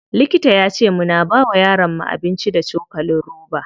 Likita yace muna bawa yaron mu abinci da cokalin roba.